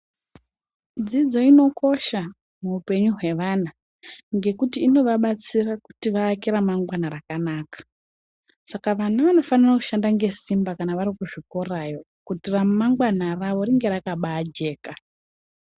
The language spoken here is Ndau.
Dzidzo inokosha muupenyu hwevana ngekuti inovabatsira kuti vaake ramangwana rakanaka, Saka vana vanofanira kushanda ngesimba kana vari kuzvikorayo, kuti ramangwana ravo ringe rakabajeka.